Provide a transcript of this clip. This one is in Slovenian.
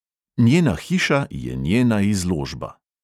Njena hiša je njena izložba.